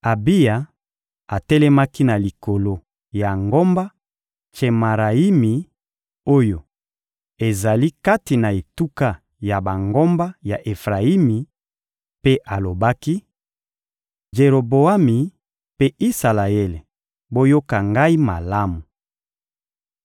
Abiya atelemaki na likolo ya ngomba Tsemarayimi oyo ezali kati na etuka ya bangomba ya Efrayimi, mpe alobaki: «Jeroboami mpe Isalaele, boyoka ngai malamu!